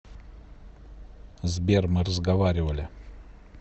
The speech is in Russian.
сбер мы разговаривали